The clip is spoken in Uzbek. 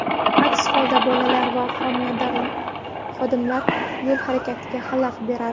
Aks holda bolalar va xodimlar yo‘l harakatiga xalaqit beradi.